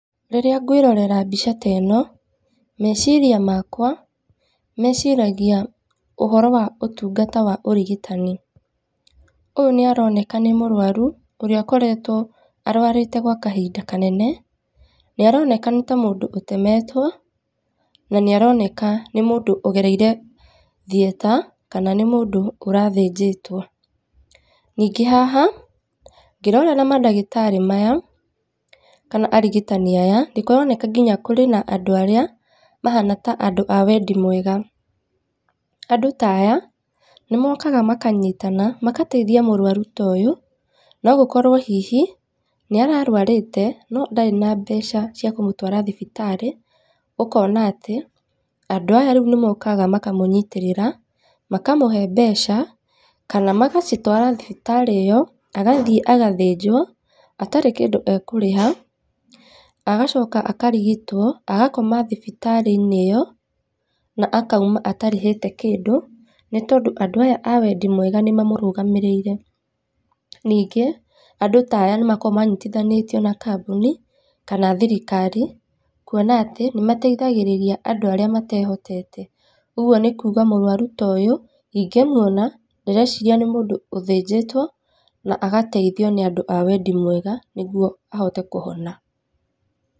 Rĩrĩa ngwĩrorera mbica ta ĩno, meciria makwa, meciragia ũhoro wa ũtungata wa ũrigitani. Ũyũ nĩaroneka nĩ mũrwaru, ũrĩa akoretwo arwarĩte gwa kahinda kanene, nĩ aroneka nĩ ta mũndũ ũtemetwo, na nĩ aroneka nĩ mũndũ ũgereire theatre, kana nĩ mũndũ ũrathĩnjĩtwo. Ningĩ haha, ngĩrorera madagĩtarĩ maya, kana arigitani aya, nĩ kũroneka nginya kũrĩ na andũ arĩa mahana ta andũ a wendi mwega. Andũ ta aya, nĩ mokaga makanyitana, magateithia mũrwaru ta ũyũ, no gũkorwo hihi, nĩ ararwarĩte no ndarĩ na mbeca cia kũmũtwara thibitarĩ, ũkona atĩ, andũ aya rĩu nĩ mokaga makamũnyitĩrĩra, makamũhe mbeca, kana magacitwara thibitarĩ ĩyo, agathiĩ agathĩnjwo, atarĩ kĩndũ ekũrĩha, agacoka akarigitwo, agakoma thibitarĩ-inĩ ĩyo, na akauma atarĩhĩte kĩndũ, nĩ tondũ andũ aya a wendi mwega nĩ mamũrũgamĩrĩire. Ningĩ andũ ta aya nĩ makoragwo manyitithanĩtio na kambuni, kana thirikari, kuona atĩ, nĩ mateithagĩrĩria andũ arĩa matehotete. Ũguo nĩ kuga mũrwaru ta ũyũ, ingĩmuona ndĩreciria nĩ mũndũ ũthĩnjĩtwo na agateithio nĩ andũ a wendi mwega nĩguo ahote kũhona.